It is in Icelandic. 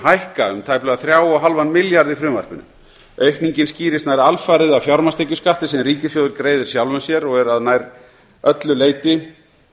hækka um tæplega þrjátíu og fimm milljarða í frumvarpinu aukningin skýrist nær alfarið af fjármagnstekjuskatti sem ríkissjóður greiðir sjálfum sér og er að nær öllu leyti